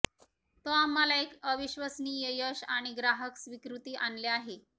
तो आम्हाला एक अविश्वसनीय यश आणि ग्राहक स्वीकृती आणले आहे